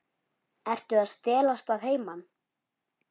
Ertu að stelast að heiman?